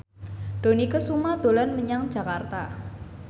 Dony Kesuma dolan menyang Jakarta